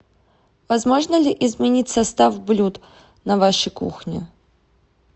возможно ли изменить состав блюд на вашей кухне